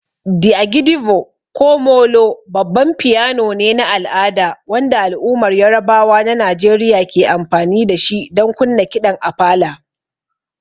The agidigbo ko '''molo''' babban piano ne na al'ada wanda al'ummar Yarabawa na Najeriya ke amfani da shi don kunna kiɗan Apala.